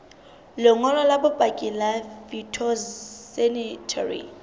lengolo la bopaki la phytosanitary